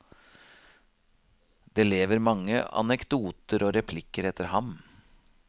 Det lever mange anekdoter og replikker etter ham.